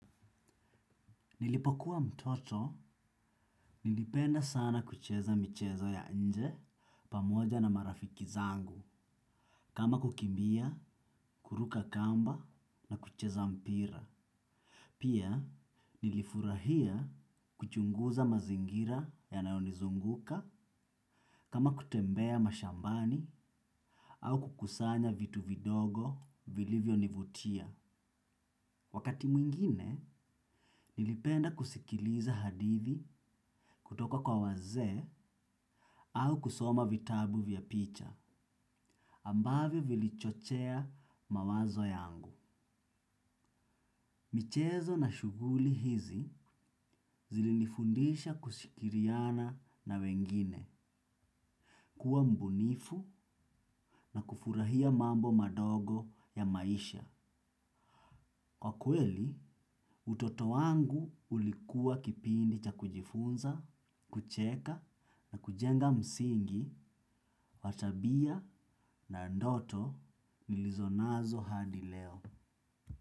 Nilipokuwa mtoto, nilipenda sana kucheza michezo ya nje, pamoja na marafiki zangu, kama kukimbia, kuruka kamba, na kucheza mpira. Pia, nilifurahia kuchunguza mazingira yanayonizunguka, kama kutembea mashambani, au kukusanya vitu vidogo vilivyo nivutia. Wakati mwingine, nilipenda kusikiliza hadithi kutoka kwa wazee au kusoma vitabu vya picha ambavyo vilichochea mawazo yangu. Michezo na shughuli hizi zilinifundisha kushikiriana na wengine kuwa mbunifu na kufurahia mambo madogo ya maisha. Kwa kweli, utoto wangu ulikua kipindi cha kujifunza, kucheka na kujenga msingi, wa tabia na ndoto nilizonazo hadi leo.